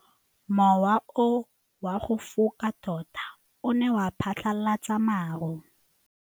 Mowa o wa go foka tota o ne wa phatlalatsa maru.